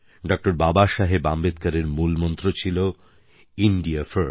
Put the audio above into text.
ড বাবাসাহেব আম্বেদকরের মূল মন্ত্র ছিল ইন্দিয়া First